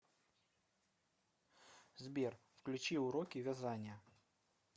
сбер включи уроки вязания